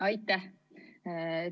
Aitäh!